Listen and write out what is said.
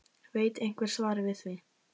Veit einhver svarið við því???????